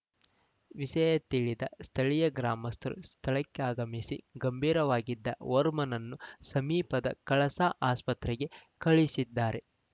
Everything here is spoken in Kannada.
ವಿಷಯ ತಿಳಿದ ಸ್ಥಳೀಯ ಗ್ರಾಮಸ್ಥರು ಸ್ಥಳಕ್ಕಾಗಮಿಸಿ ಗಂಭೀರವಾಗಿದ್ದ ಓರ್ವನನ್ನು ಸಮೀಪದ ಕಳಸ ಆಸ್ಪತ್ರೆಗೆ ಕಳಿಸಿದ್ದಾರೆ